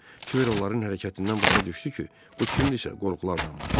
Kibir onların hərəkətindən başa düşdü ki, bu kimdirsə, qorxulu adamdır.